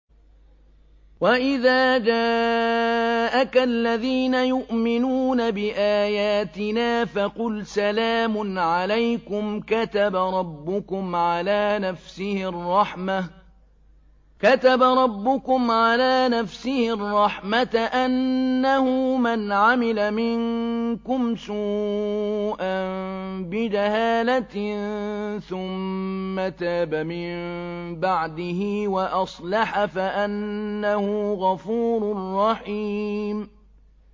وَإِذَا جَاءَكَ الَّذِينَ يُؤْمِنُونَ بِآيَاتِنَا فَقُلْ سَلَامٌ عَلَيْكُمْ ۖ كَتَبَ رَبُّكُمْ عَلَىٰ نَفْسِهِ الرَّحْمَةَ ۖ أَنَّهُ مَنْ عَمِلَ مِنكُمْ سُوءًا بِجَهَالَةٍ ثُمَّ تَابَ مِن بَعْدِهِ وَأَصْلَحَ فَأَنَّهُ غَفُورٌ رَّحِيمٌ